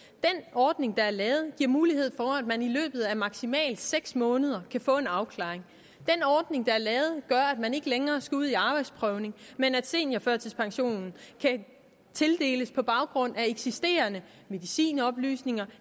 ordning der er lavet giver mulighed for at man i løbet af maksimalt seks måneder kan få en afklaring den ordning der er lavet gør at man ikke længere skal ud i arbejdsprøvning men at seniorførtidspensionen kan tildeles på baggrund af eksisterende medicinoplysninger